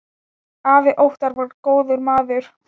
Afi Óttar var góður maður.